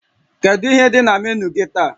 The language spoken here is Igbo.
Kedu ihe dị na menu gị taa?